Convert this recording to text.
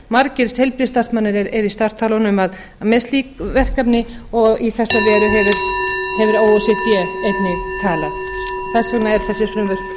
margir heilbrigðisstarfsmenn eru í startholunum með slík verkefni og í þessa veru hefur o e c d einnig talað þess vegna eru þessar spurningar lagðar fram